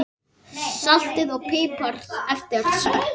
Saltið og piprið eftir smekk.